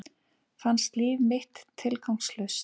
Fannst líf mitt tilgangslaust.